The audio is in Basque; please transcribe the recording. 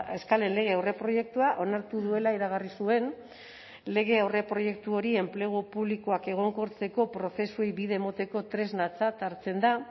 eskalen lege aurreproiektua onartu duela iragarri zuen lege aurreproiektu hori enplegu publikoak egonkortzeko prozesuei bide emoteko tresnatzat hartzen da